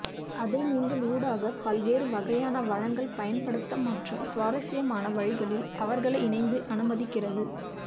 அதை நீங்கள் ஊடக பல்வேறு வகையான வழங்கல் பயன்படுத்த மற்றும் சுவாரஸ்யமான வழிகளில் அவர்களை இணைந்த அனுமதிக்கிறது